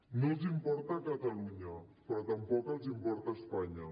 no els importa catalunya però tampoc els importa espanya